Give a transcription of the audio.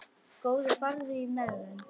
Góði farðu í megrun.